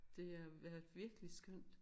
Det øh er virkelig skønt